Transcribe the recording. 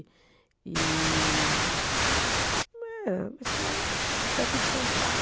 E, eh, é uma escola daqui de São Paulo.